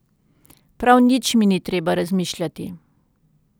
Prav nič mi ni treba razmišljati.